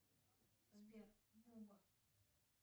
сбер мини форс икс